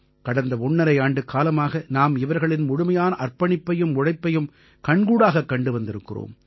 கடந்த ஒண்ணரை ஆண்டுக்காலமாக நாம் இவர்களின் முழுமையான அர்ப்பணிப்பையும் உழைப்பையும் கண்கூடாகக் கண்டு வந்திருக்கிறோம்